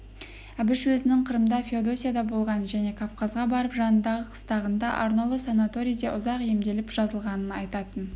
әбіш өзінің қырымда феодосияда болғанын және кавказға барып жанындағы қыстағында арнаулы санаторийде ұзақ емделіп жазылғанын айтатын